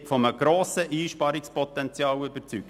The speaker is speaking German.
Ich bin von einem grossen Einsparungspotenzial überzeugt.